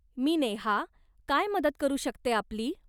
मी नेहा, काय मदत करू शकते आपली.